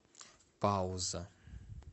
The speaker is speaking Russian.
пауза